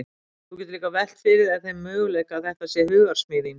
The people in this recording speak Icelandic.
Þú getur líka velt fyrir þér þeim möguleika að þetta sé hugarsmíð þín.